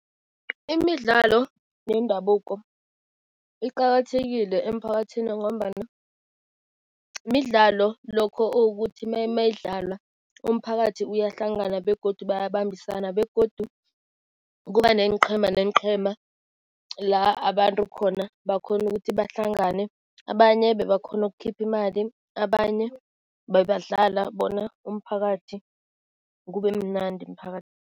Imidlalo yendabuko iqakathekile emiphakathini ngombana midlalo, lokho ukuthi meyidlala, umphakathi uyahlangana begodu bayabambisana begodu kuba neenqhema neenqhema, la abantu khona bakghona ukuthi bahlangane. Abanye bebakghona ukukhipha imali, abanye bebadlala bona umphakathi, kubemnandi